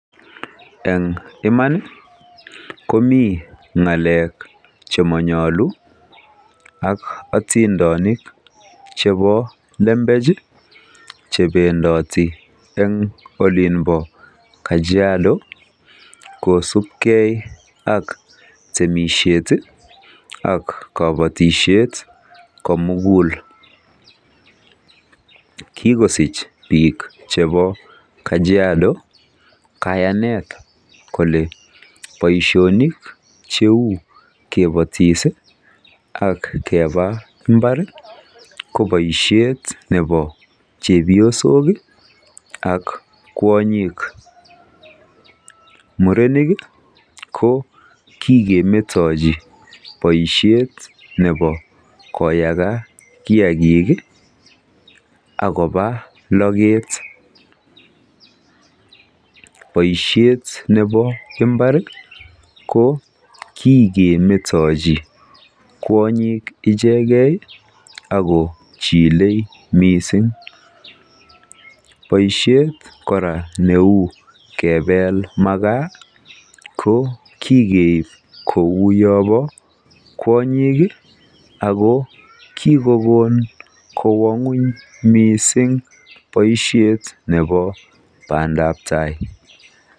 Eng iman komi ng'alek che mayalu ak atindanik chebo lembech chebendati eng olinbo Kajiado kosupgei ak temishet ak kobatishet komugul. Kikosich biik chebo Kajiado kayanet kole boishonik cheu kapatishe ak keba mbar kobo chepyosok ak kwonyik. Murenik ko kikemetochi boishet nebo kiagik ak koba loget, Boishet nebo mbar ko kikemetochi kwonyik ichegei ako chilei mising. Boishet kora neu kebel makaa ko kikeib kouyo bo kwonyik ako kikokon kowa ng'wony mising boishetab pandabtai.